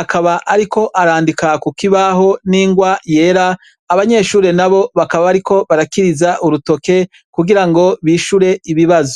akaba, ariko arandika ku kibaho n'ingwa yera abanyeshure na bo bakaba, bariko barakiriza urutoke kugira ngo bishure ibibazo.